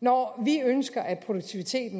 når vi ønsker at produktiviteten